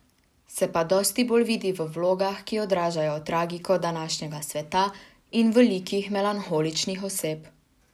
Se pa dosti bolj vidi v vlogah, ki odražajo tragiko današnjega sveta, in v likih melanholičnih oseb.